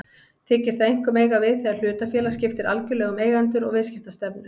Þykir það einkum eiga við þegar hlutafélag skiptir algjörlega um eigendur og viðskiptastefnu.